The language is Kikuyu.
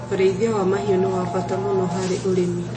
Ũrĩithia wa mahiũ nĩ wa bata mũno harĩ ũrĩmi.